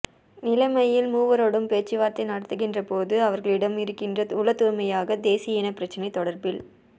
நிலைமையில் மூவரோடும் பேச்சுவார்த்தை நடத்துகின்றபோது அவர்களிடம் இருக்கின்ற உளத்தூய்மையாக தேசிய இனப்பிரச்சினை தொடர்பில்